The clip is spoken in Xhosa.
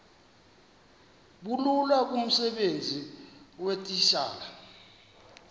bulula kumsebenzi weetitshala